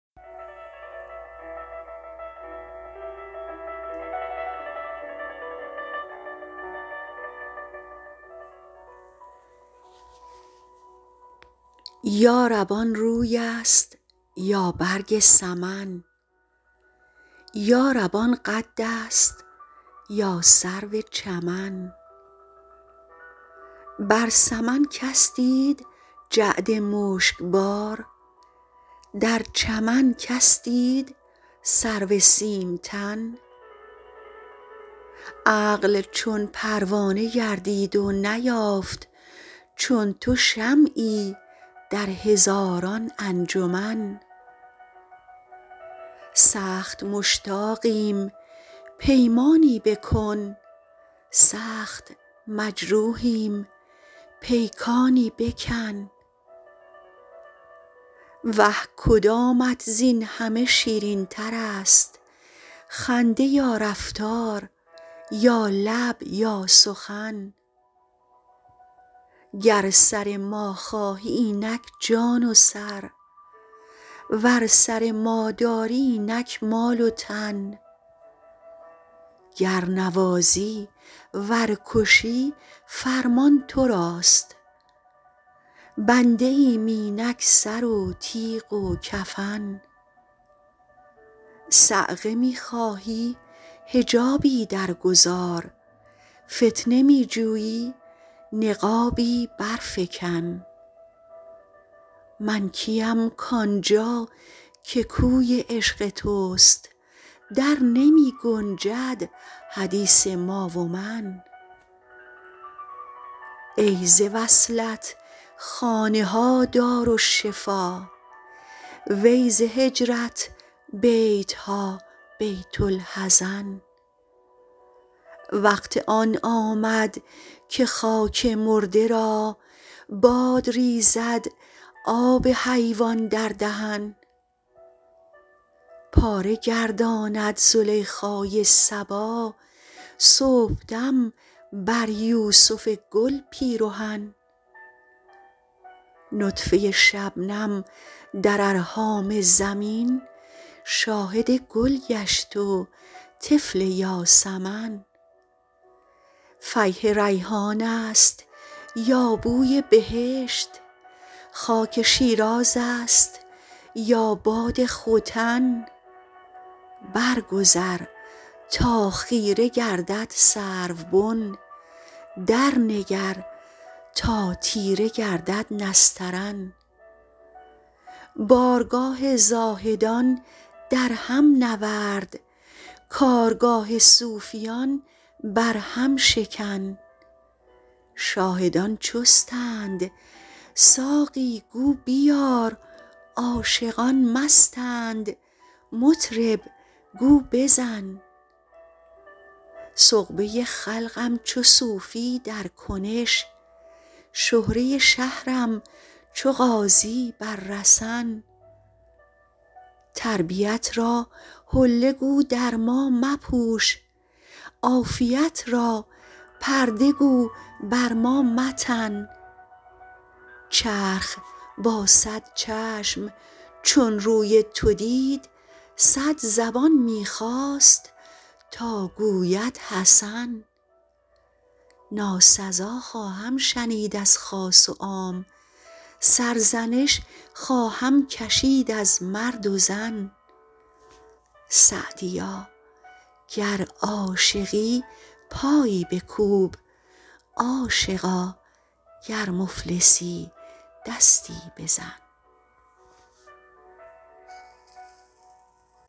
یا رب آن روی است یا برگ سمن یا رب آن قد است یا سرو چمن بر سمن کس دید جعد مشک بار در چمن کس دید سرو سیم تن عقل چون پروانه گردید و نیافت چون تو شمعی در هزاران انجمن سخت مشتاقیم پیمانی بکن سخت مجروحیم پیکانی بکن وه کدامت زین همه شیرین تر است خنده یا رفتار یا لب یا سخن گر سر ما خواهی اینک جان و سر ور سر ما داری اینک مال و تن گر نوازی ور کشی فرمان تو راست بنده ایم اینک سر و تیغ و کفن صعقه می خواهی حجابی در گذار فتنه می جویی نقابی بر فکن من کیم کآن جا که کوی عشق توست در نمی گنجد حدیث ما و من ای ز وصلت خانه ها دارالشفا وی ز هجرت بیت ها بیت الحزن وقت آن آمد که خاک مرده را باد ریزد آب حیوان در دهن پاره گرداند زلیخای صبا صبحدم بر یوسف گل پیرهن نطفه شبنم در ارحام زمین شاهد گل گشت و طفل یاسمن فیح ریحان است یا بوی بهشت خاک شیراز است یا باد ختن بر گذر تا خیره گردد سروبن در نگر تا تیره گردد نسترن بارگاه زاهدان در هم نورد کارگاه صوفیان بر هم شکن شاهدان چستند ساقی گو بیار عاشقان مستند مطرب گو بزن سغبه خلقم چو صوفی در کنش شهره شهرم چو غازی بر رسن تربیت را حله گو در ما مپوش عافیت را پرده گو بر ما متن چرخ با صد چشم چون روی تو دید صد زبان می خواست تا گوید حسن ناسزا خواهم شنید از خاص و عام سرزنش خواهم کشید از مرد و زن سعدیا گر عاشقی پایی بکوب عاشقا گر مفلسی دستی بزن